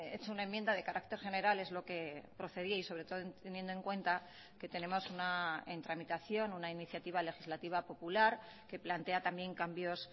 hecho una enmienda de carácter general es lo que procedía y sobre todo teniendo en cuenta que tenemos una en tramitación una iniciativa legislativa popular que plantea también cambios